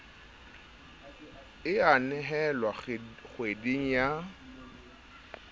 e a nehelwa kgweding ya